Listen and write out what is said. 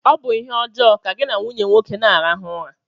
Ọ bụ ihe ọjọọ ka gị na nwunye nwoke na-arahụ ụra